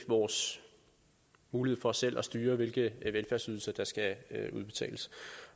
vores mulighed for selv at styre hvilke velfærdsydelser der skal udbetales